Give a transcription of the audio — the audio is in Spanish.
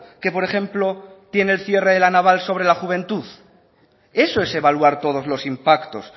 que por ejemplo tiene el cierre de la naval sobre la juventud eso es evaluar todos los impactos